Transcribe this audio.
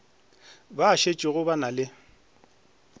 ba šetšego ba na le